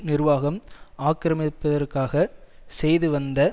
நிர்வாகம் ஆக்கிரமிப்பதற்காக செய்து வந்த